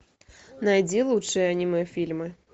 найди лучшие аниме фильмы